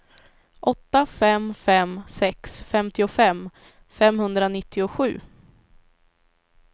åtta fem fem sex femtiofem femhundranittiosju